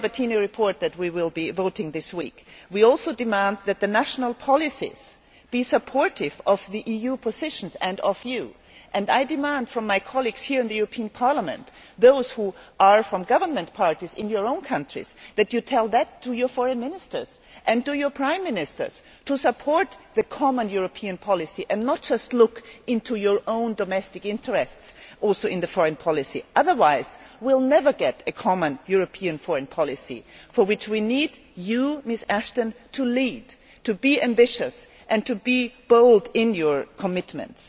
In the Albertini report that we will be voting on this week, we also call for the national policies to be supportive of the EU positions and of you, and I call on my colleagues here in the European Parliament, those of you who are from government parties in your own countries tell your foreign ministers and your prime ministers to support the common European policy and not just look into your own domestic interests, including in foreign policy, otherwise we will never get a common European foreign policy for which we need you, Baroness Ashton, to lead, to be ambitious and to be bold in your commitments.